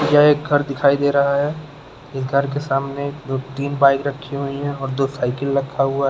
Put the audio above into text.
यह एक घर दिखाई दे रहा है इस घर के सामने दो तीन बाइक रखी हुई है और दो साइकल रखा हुआ है।